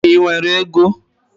Ị nwere ego?